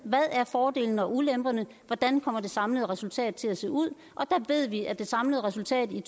hvad er fordelene og ulemperne hvordan kommer det samlede resultat til at se ud og der ved vi at det samlede resultat i